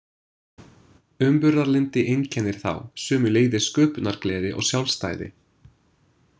Umburðarlyndi einkennir þá, sömuleiðis sköpunargleði og sjálfstæði.